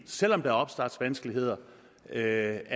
selv om der er opstartsvanskeligheder er